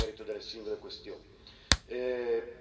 non potendo entrare nel merito delle singole questioni.